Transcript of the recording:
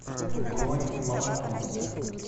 бронь молоко